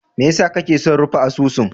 Mai yasa kake son rufe asusun?